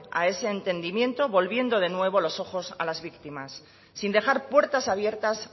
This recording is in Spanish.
a ese entendimiento volviendo de nuevo los ojos a las víctimas sin dejar puertas abiertas